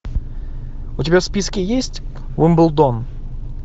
у тебя в списке есть уимблдон